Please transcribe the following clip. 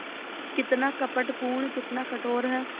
कितना कपटपूर्ण कितना कठोर है